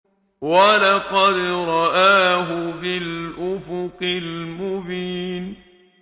وَلَقَدْ رَآهُ بِالْأُفُقِ الْمُبِينِ